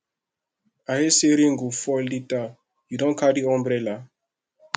i hear say rain go fall later you don carry umbrella